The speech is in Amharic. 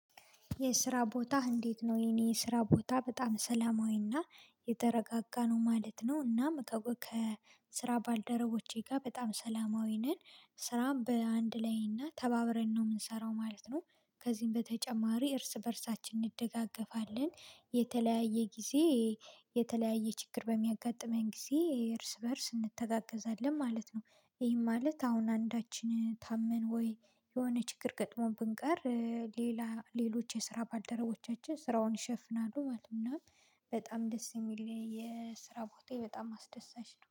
የስራ ቦታህ እንዴት ነው? የኔ ስራ ቦታ በጣም ሰላማዊና የተረጋጋ ነው ማለት ነው። እና ስራ ከስራ ባልደረቦቼ ጋር በጣም ሰላማዊ ነን ስራም በአንድ ላይ እና ተባብረን ነው የምንሰራው ማለት ነው። ከዚህም በተጨማሪ እርስ በእርሳችን እንደጋገፋለን የተለያየ ጊዜ የተለያየ ችግር በሚያጋጥመኝ ጊዜ እርስ በእርስ እንተጋገዛለን ማለት ነው። ይህም ማለት አሁን አንዳችን ታመን ወይ የሆነ ችግር ገጥሞ ብንቀር ሌላ ሌሎች የስራ ባልደረቦቻችን ስራውን ይሸፍናሉ ማለት ነው። እና በጣም ደስ የሚል የስራ ቦታ በጣም አስደሳች ነው